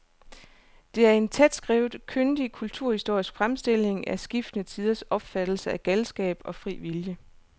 Det er en tætskrevet, kyndig kulturhistorisk fremstilling af skiftende tiders opfattelse af galskab og fri vilje.